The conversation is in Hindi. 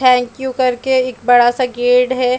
थैंक यू कर के एक बड़ा सा गेट है।